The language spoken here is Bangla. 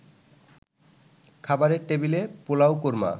খাবারের টেবিলে পোলাও-কোরমা